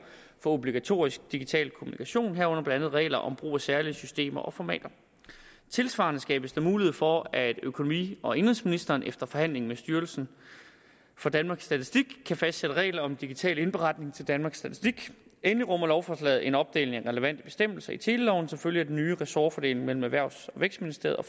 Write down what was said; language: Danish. for obligatorisk digital kommunikation herunder blandt andet regler om brug af særlige systemer og formater tilsvarende skabes der mulighed for at økonomi og indenrigsministeren efter forhandling med styrelsen for danmarks statistik kan fastsætte regler om digital indberetning til danmarks statistik endelig rummer lovforslaget en opdeling af relevante bestemmelser i teleloven som følge af den nye ressortfordeling mellem erhvervs og vækstministeriet og